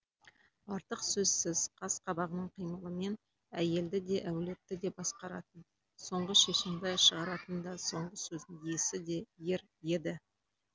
артық сөзсіз қас қабағының қимылымен әйелді де әулетті де басқаратын соңғы шешімді шығаратын да соңғы сөздің иесі де ер еді